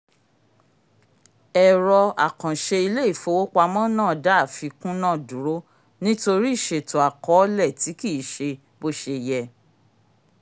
ẹ̀rọ àkànṣe ilé-ìfowópamó náà dá àfikún náà dúró nítorí ìṣètò àkọọlẹ tí kì í ṣe bó ṣe yẹ